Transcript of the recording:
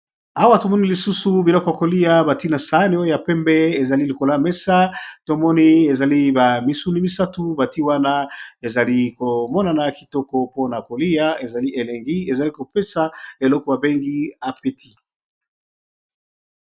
awa tomoni lisusu biloko kolia batina saano ya pembe ezali likola mesa tomoni ezali ba misuni misatu bati wana ezali komonana kitoko mpona kolia ezali elengi ezali kopesa eloko bengi apeti